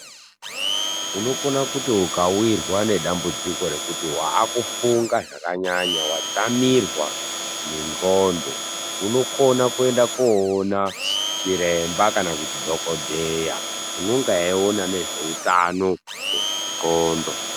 Unokona kuti ukawirwa nedambudziko rekuti waakufunga zvakanyanya, wadzamirwa nendxondo, unokona koona chiremba kana kuti dhokodheya, unonga eiona ngezveutano hwendxondo.